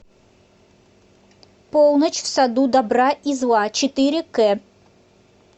полночь в саду добра и зла четыре кэ